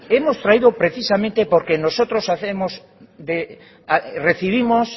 hemos traído precisamente porque nosotros recibimos